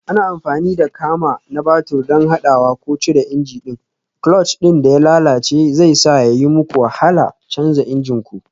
Ana amfani da kama na babur don haɗawa ko cire injin ɗin, clutch ɗin da ya lalace zai sa ya yi muku wahala canza injin ku.